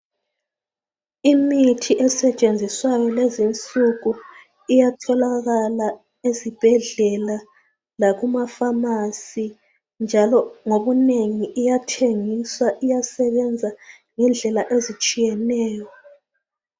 Imithi esetshenziswayo lezinsuku iyatholakala ezibhedlela lakuma-pharmacy njalo ngobunengi iyathengiswa iyasebenza ngendlela ezitshiyeneyo.